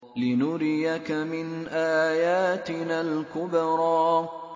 لِنُرِيَكَ مِنْ آيَاتِنَا الْكُبْرَى